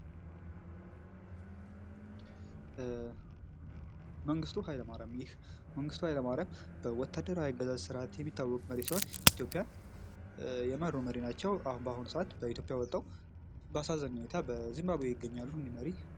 ይህ መንግሥቱ ኃይለማርያም በወታደራዊ አገዛዝ ስርዓት የሚታወቅ መሪ ሲሆን፤ ኢትዮጵያን የመሩ መሪ ናቸው። በአሁኑ ሰዓት በኢትዮጵያ ወጥተው በአሳዛኝ ሁኔታ በዝምባብዌ ይገኛሉ ይህ መሪ።